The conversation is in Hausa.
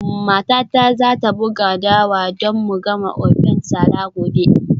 Matata za ta buga dawa don mu gama ofe nsala gobe.